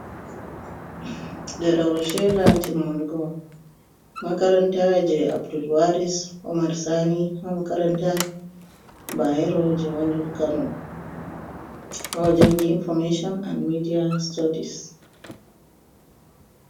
Ɗerewol sheda timmungo makaranta je abdulwaris Omar sani ha makaranta bayero je woni kano, ha ojangi information and media studies.